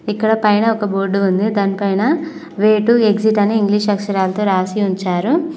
ఇక్కడ పైన ఒక బోర్డు ఉంది దానిపైన వే టు ఎగ్జిట్ అని ఇంగ్లీష్ అక్షరాలతో రాసి ఉంచారు.